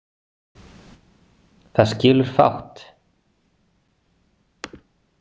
Það skilur fátt.